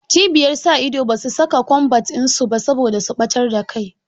Cibiyar sa ido basu saka kombat in su ba saboda su ɓatar da kai